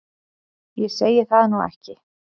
Ég segi það nú ekki.